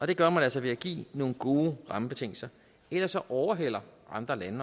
det gør man altså ved at give nogle gode rammebetingelser ellers overhaler andre lande